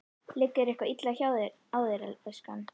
Liggur eitthvað illa á þér, elskan?